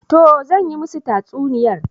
Toh zan yi musu tatsuniyar